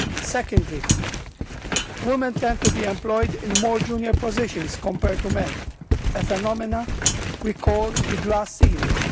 Secondly, women tend to be employed in more junior positions compared to men, a phenomenon we call the glass ceiling.